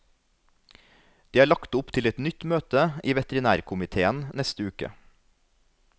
Det er lagt opp til et nytt møte i veterinærkomitéen neste uke.